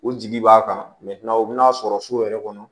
U jigi b'a kan u bɛn'a sɔrɔ so yɛrɛ kɔnɔ